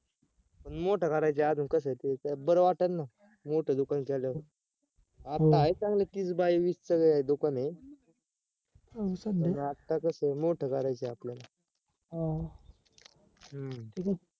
पण मोठ करायचं अजून कस ते बर वाटेल ना मोठ दुकान केल्यावर आता आहे चांगल तीस by वीसच दुकान आहे पण आता कसए मोठ करायचंय आपल्याला हम्म